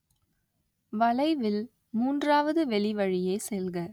வளைவில், மூன்றாவது வெளிவழியே செல்க